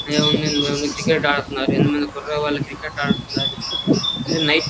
Cricket ఆడుతున్నారు.ఎనిమిది ముందుకి పిల్లలు క్రికెట్ ఆడుతున్నారు. ఇది నైట్ --